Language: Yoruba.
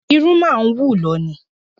Irun máa ń wù lọ ní